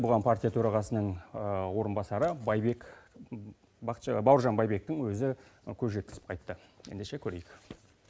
бұған партия төрағасының орынбасары бауыржан байбектің өзі көз жеткізіп қайтты ендеше көрейк